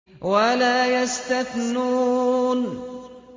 وَلَا يَسْتَثْنُونَ